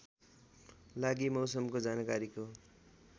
लागि मौसमको जानकारीको